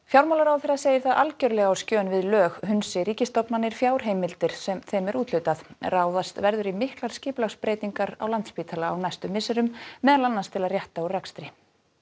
fjármálaráðherra segir það algjörlega á skjön við lög hunsi ríkisstofnanir fjárheimildir sem þeim er úthlutað ráðist verður í miklar skipulagsbreytingar á Landspítala á næstu misserum meðal annars til að rétta úr rekstri